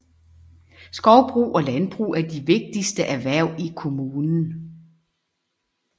Skovbrug og landbrug er de vigtigste erhverv i kommunen